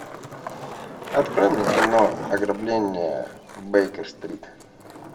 открой мне кино ограбление в бейкер стрит